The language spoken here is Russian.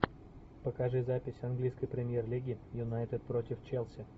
покажи запись английской премьер лиги юнайтед против челси